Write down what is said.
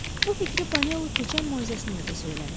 Bu fikri Panolu keçən moizəsində də söyləmişdi.